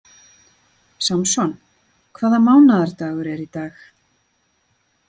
Samson, hvaða mánaðardagur er í dag?